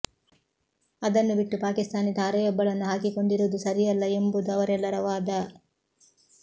ಅದನ್ನು ಬಿಟ್ಟು ಪಾಕಿಸ್ತಾನಿ ತಾರೆಯೊಬ್ಬಳನ್ನು ಹಾಕಿಕೊಂಡಿರುವುದು ಸರಿಯಲ್ಲ ಎಂಬುದು ಅವರೆಲ್ಲರ ವಾದ